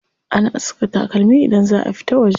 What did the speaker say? Ana saka takalmi idan za a fita waje.